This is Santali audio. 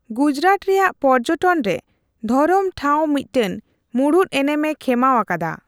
ᱜᱩᱡᱽᱨᱟᱴ ᱨᱮᱭᱟᱜ ᱯᱚᱨᱡᱚᱴᱚᱱ ᱨᱮ ᱫᱷᱚᱨᱚᱢ ᱴᱷᱟᱣ ᱢᱤᱫᱴᱟᱝ ᱢᱩᱬᱩᱫ ᱮᱱᱮᱢᱮ ᱠᱷᱮᱢᱟᱣ ᱟᱠᱟᱫᱟ ᱾